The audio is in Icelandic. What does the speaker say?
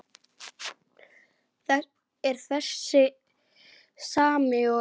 Er það þessi sami og.